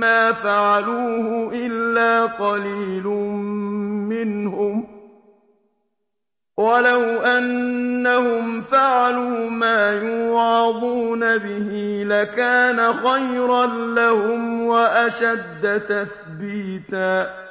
مَّا فَعَلُوهُ إِلَّا قَلِيلٌ مِّنْهُمْ ۖ وَلَوْ أَنَّهُمْ فَعَلُوا مَا يُوعَظُونَ بِهِ لَكَانَ خَيْرًا لَّهُمْ وَأَشَدَّ تَثْبِيتًا